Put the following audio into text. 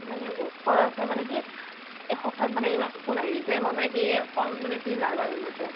মানে বহুত খৰছ আছে । মানে কি এ হঠাৎ মানে ইমান phone আহিল যে, মই মানে কি ক মানে কি nervous হৈ গৈছো